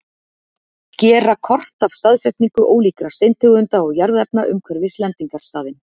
Gera kort af staðsetningu ólíkra steintegunda og jarðefna umhverfis lendingarstaðinn.